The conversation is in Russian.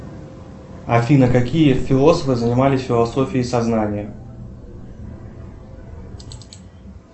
афина какие философы занимались философией сознания